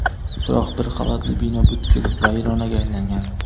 biroq bir qavatli bino butkul vayronaga aylangan.